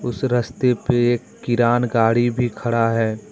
उस रस्ते पे एक किरान गाड़ी भी खड़ा है।